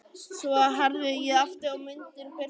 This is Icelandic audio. Svo herði ég aftur og myndin birtist á ný.